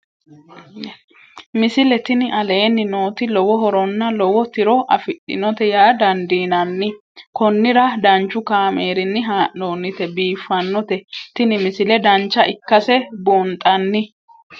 misile tini aleenni nooti lowo horonna lowo tiro afidhinote yaa dandiinanni konnira danchu kaameerinni haa'noonnite biiffannote tini misile dancha ikkase buunxanni